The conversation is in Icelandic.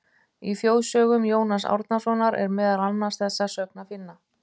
Í Þjóðsögum Jóns Árnasonar er meðal annars þessa sögn að finna: